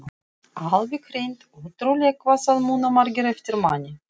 Alveg hreint ótrúlegt hvað það muna margir eftir manni!